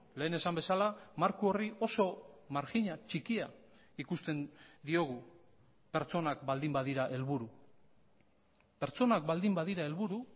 lehen esan bezala marko horri oso marjina txikia ikusten diogu pertsonak baldin badira helburu pertsonak baldin badira helburu